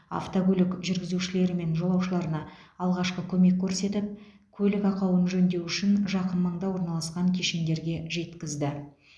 автокөлік жүргізушілері мен жолаушыларына алғашқы көмек көрсетіп көлік ақауын жөндеу үшін жақын маңда орналасқан кешендерге жеткізді